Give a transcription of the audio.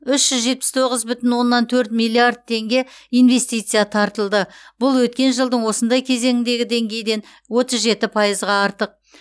үш жүз жетпіс тоғыз бүтін оннан төрт миллиард теңге инвестиция тартылды бұл өткен жылдың осындай кезеңіндегі деңгейден отыз жеті пайызға артық